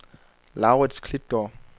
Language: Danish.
Laurits Klitgaard